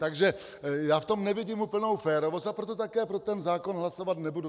Takže já v tom nevidím úplnou férovost, a proto také pro ten zákon hlasovat nebudu.